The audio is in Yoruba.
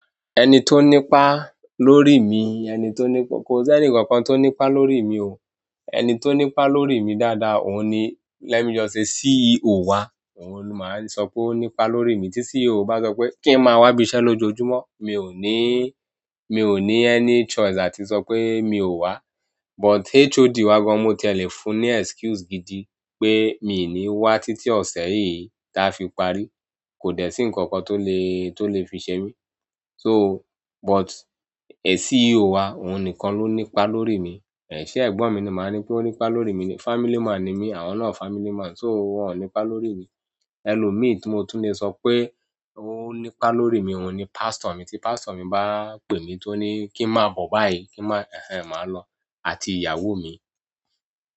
Ẹni tó ní pa lórí mi, ẹni tó ní, kò sẹ́nì ǹkankan tó ní pa lórí mi o. Ẹni tó ní pa lórí mi dáadáa òun ni, let me just say CEO wá, òun ni máa le sọ pé ó ní pa lórí mi. Tí CEO bá sọ pé kí n máa wá ibi iṣẹ́ lójoojúmọ́, mi ò ní, mi ò ní any choice àti sọ pé mi ò wá. But HOD wá gan mo ti è le fún ní excuse gidi pé mi ò ní wá títí ọ̀sẹ̀ yìí táa fi parí, kò dẹ̀ sí ǹkankan tó lè, tó lè fi ṣe mí. So but CEO wá òun nìkan ló ní pa lórí mi. Ṣe ẹ̀gbọ́n mi ni màá ní pé ó ní pa lórí mi ni. Family man ni mí, àwọn náà family man, so wọ́n ò ní pa lórí mi. Elomi ti mo tun le so pe o ni pa lórí mi oun ni pastor mí tí pastor mi bá pè mí tó ní kí n máa bọ̀ báyìí, màá lọ, àti ìyàwó mi.